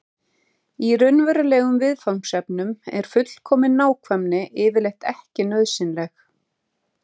í raunverulegum viðfangsefnum er fullkomin nákvæmni yfirleitt ekki nauðsynleg